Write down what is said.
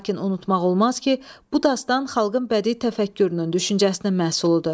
Lakin unutmaq olmaz ki, bu dastan xalqın bədii təfəkkürünün, düşüncəsinin məhsuludur.